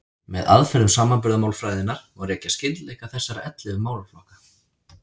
Með aðferðum samanburðarmálfræðinnar má rekja skyldleika þessara ellefu málaflokka.